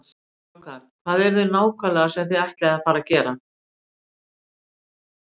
Strákar, hvað er það nákvæmlega sem þið ætlið að fara að gera?